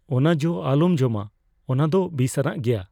ᱚᱱᱟ ᱡᱚ ᱟᱞᱚᱢ ᱡᱚᱢᱟ ᱾ ᱚᱱᱟ ᱫᱚ ᱵᱤᱥᱟᱱᱟᱜ ᱜᱮᱭᱟ ᱾